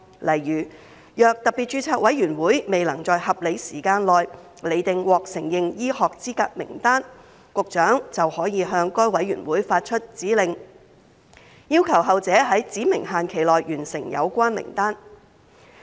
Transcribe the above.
例如，若特別註冊委員會未能在合理時間內釐定獲承認醫學資格名單，局長便可向該委員會發出指令，要求後者在指明期限內完成有關名單。